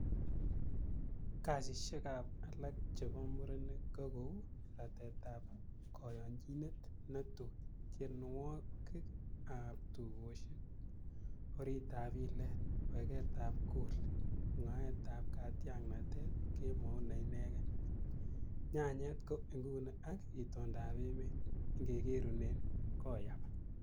Kasisiekab alak chebo muren ko kou, Ratetab koyonyinet netui, tienwogik ab tugosiek, Oritab ilet, Wegetab Goli, mwaetab katyaknatet, Kemout neinegen, Nyanyet ko inguni ak itondab emet ingegerunun Koyaba.